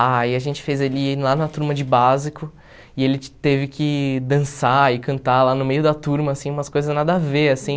Ah, aí a gente fez ele ir lá na turma de básico e ele teve que dançar e cantar lá no meio da turma, assim, umas coisas nada a ver, assim.